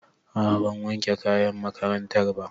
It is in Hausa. A'a ban wanke kayan makarantar ba